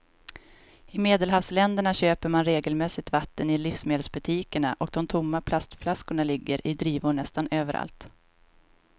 I medelhavsländerna köper man regelmässigt vatten i livsmedelsbutikerna och de tomma plastflaskorna ligger i drivor nästan överallt.